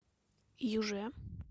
юже